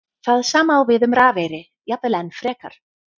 Það sama á við um rafeyri, jafnvel enn frekar.